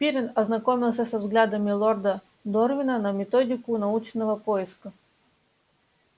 пиренн ознакомился со взглядами лорда дорвина на методику научного поиска